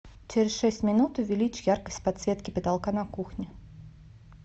через шесть минут увеличь яркость подсветки потолка на кухне